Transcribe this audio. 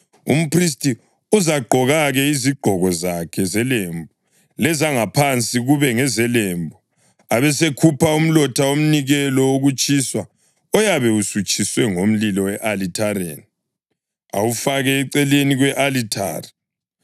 Umphristi uzagqoka-ke izigqoko zakhe zelembu, lezangaphansi kube ngezelembu, abesekhupha umlotha womnikelo wokutshiswa oyabe usutshiswe ngumlilo e-alithareni, awufake eceleni kwe-alithari.